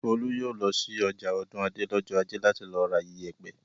Folú yóò lọ sí ọjà Ọ̀dúnadé lọ́jọ́ ajé láti lọ ra ìyẹ̀pẹ̀!